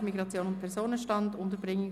«Amt für Migration und Personenstand (MIP);